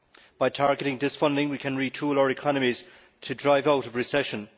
By targeting this funding, we can retool our economies to drive out of recession.